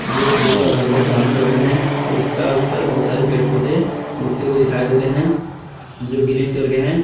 जो ब्लैक और हल्का ब्राउन कलर में हैं और उसका ऊपर बहुत सारे पेड़ पौधे उगते हुए दिखाई दे रहे हैं जो ग्रीन कलर के हैं।